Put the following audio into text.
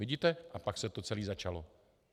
Vidíte, a pak se to celé začalo.